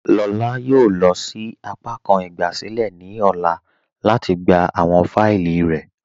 Lọlá yóò lọ sí àpàkàn ìgbàsílẹ̀ ní ọlá lati gbà awọn fáílì rẹ̀.